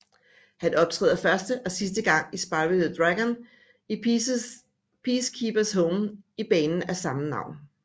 Han optræder første og sidste gang i Spyro the Dragon i Peace Keepers Home i banen af samme navn